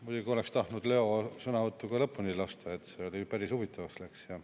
Muidugi oleks tahtnud Leo sõnavõttu ka lõpuni kuulata, see läks päris huvitavaks.